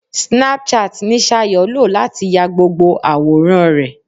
Snapchat ni Sayọ̀ lò láti ya gbogbo àwòrán rẹ̀.